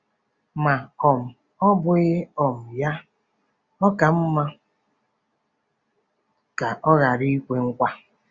Ma um ọ́ bụghị um ya, ọ ka mma ka ọ ghara ikwe nkwa.